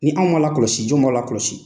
Ni anw m'a lakɔlɔsi jɔn b'a la kɔlɔsi.